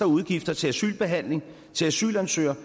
udgifter til asylbehandling til asylansøgere